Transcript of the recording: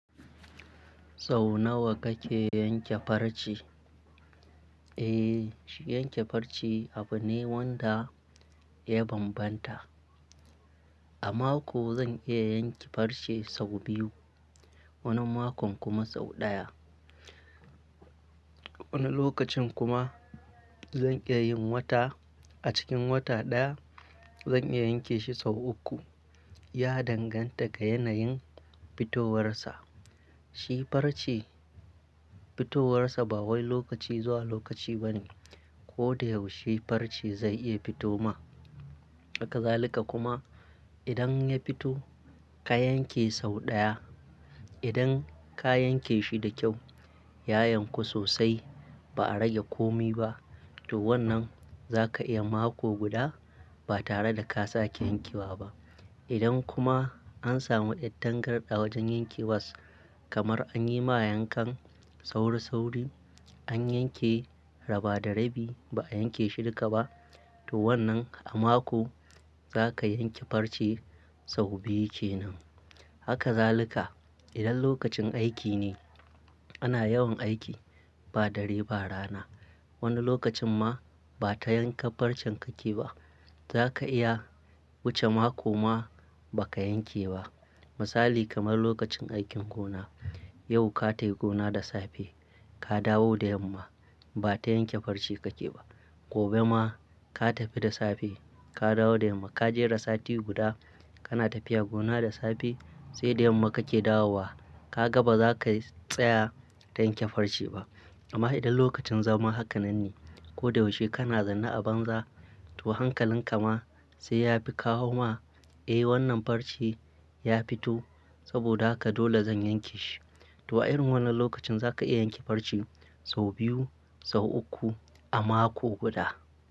Sau nawa kake yanke farce? Eh, yanke farce abu ne wanda ya banbanta. A mako zan iya yanke farce sau biyu, wani makon kuma sau ɗaya. Wani lokacin kuma zan iya yin wata. A cikin wata ɗaya zan iya yanke shi sau uku. Ya danganta ga yanayin fitowarsa. Shi farce fitowarsa ba wai lokaci zuwa lokaci ba ne. Ko da yaushe farce zai iya fito ma. Hakazalika kuma idan ya fito ka yanke sau ɗaya, idan ka yanke shi da kyau, ya yanku sosai ba a rage komi ba, to wannan za ka iya mako guda ba tare da ka sake yankewa ba. Idan kuma an samu yar tangarda wajen yankewas kamar an yi ma yankan sauri sauri, an yanke raba da rabi ba a yanke shi duka ba, to wannan a mako za ka yanke farce sau biyu kenan. Hakazalika idan lokacin aiki ne, ana yawan aiki ba dare ba rana. Wani lokacin ma ba ta yanka farcen kake ba. Za ka iya wuce mako ma ba ka yanke ba. Misali kamar lokacin aikin gona. Yau ka tafi gona da safe ka dawo da yamma ba ta yanke farce kake ba. Gobe ma ka tafi da safe ka dawo da yamma. Ka jera sati guda kana tafiya gona da safe sai da yamma kake dawowa. Ka ga ba za ka tsaya don yanke farce ba. Amma idan lokacin zama haka nan ne, ko da yaushe kana zanna a banza, to hankalin ka ma sai ya fi kawo ma, eh wannan farce ya fito saboda haka dole zan yanke shi. To a irin wannan lokacin za ka iya yanke farce sau biyu, sau uku a mako guda.